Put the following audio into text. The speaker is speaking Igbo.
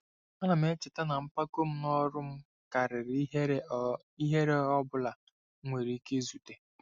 Ana m echeta na mpako n'ọrụ m karịrị ihere ọ ihere ọ bụla m nwere ike izute.